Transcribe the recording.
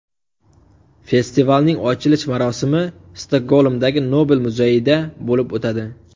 Festivalning ochilish marosimi Stokgolmdagi Nobel muzeyida bo‘lib o‘tadi.